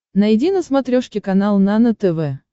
найди на смотрешке канал нано тв